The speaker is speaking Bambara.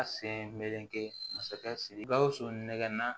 A sen meleke masakɛ siriki gawusu nɛgɛ